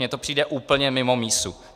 Mně to přijde úplně mimo mísu.